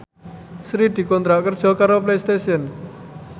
Sri dikontrak kerja karo Playstation